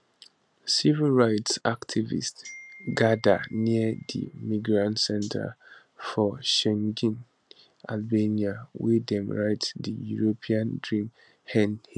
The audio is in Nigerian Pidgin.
civil rights activists gada near di migrant centre for shengjin albania wey dem write di european dream end here